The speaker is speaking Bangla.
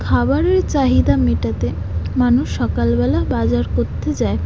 খাবারের চাহিদা মেটাতে মানুষ সকালবেলা বাজার করতে যায় ।